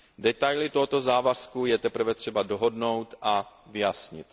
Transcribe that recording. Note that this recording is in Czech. Detaily tohoto závazku je teprve třeba dohodnout a vyjasnit.